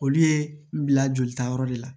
Olu ye bila yɔrɔ de la